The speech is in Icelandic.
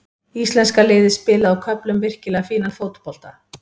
Íslenska liðið spilaði á köflum virkilega fínan fótbolta.